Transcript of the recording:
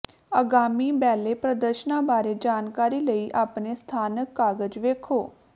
ਆਗਾਮੀ ਬੈਲੇ ਪ੍ਰਦਰਸ਼ਨਾਂ ਬਾਰੇ ਜਾਣਕਾਰੀ ਲਈ ਆਪਣੇ ਸਥਾਨਕ ਕਾਗਜ਼ ਵੇਖੋ